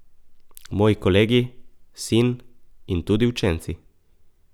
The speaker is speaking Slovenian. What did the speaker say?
Moji kolegi, sin in tudi učenci.